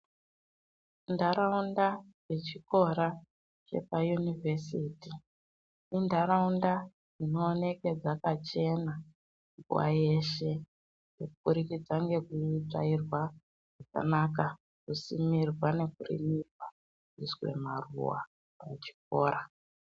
Ntaraunda dzechikora chepayunivhesiti, intaraunda dzinooneke dzakachena nguwa yeshe kuburikidza ngekutsvairwa zvakanaka, kusimirwa nekurimirwa ,kuiswe maruwa pachikora.